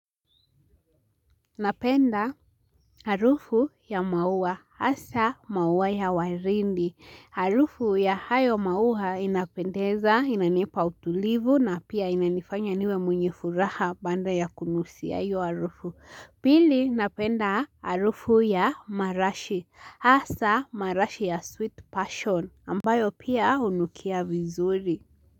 Napenda harufu ya mauwa hasa mauwa ya waridi. Harufu ya hayo mauwa inapendeza inanipa utulivu na pia inanifanya niwe mwenye furaha baada ya kunusia hiyo harufu. Pili napenda harufu ya marashi hasa marashi ya sweet passion ambayo pia hunukia vizuri.